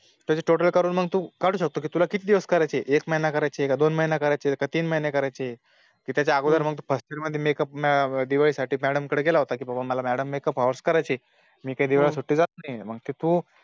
त्याची Total करून मग तू काढू शकतो कि तुला किती दिवस करायची आहे एक महिना करायची आहे कि तीन महिने करायची आहे ली त्याच्या अगोदर तू First year मध्ये Makeup दिवाळी साठी Madam कडे गेला होता कि बाबा Madam मला Makeup hours करायचे आहे मी काही दिवाळी ची सुट्टीला जात नाही मग ते तू